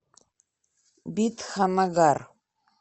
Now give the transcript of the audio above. бидханнагар